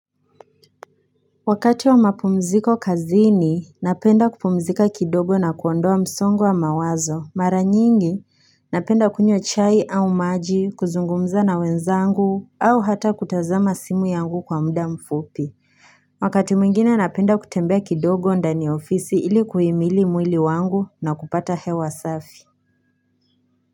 Wakati wa mapumziko kazini, napenda kupumzika kidogo na kuondoa msongwa mawazo. Mara nyingi, napenda kunywa chai au maji, kuzungumza na wenzangu, au hata kutazama simu yangu kwa muda mfupi. Wakati mwingine napenda kutembea kidogo ndani ya ofisi ili kuhimili mwili wangu na kupata hewa safi.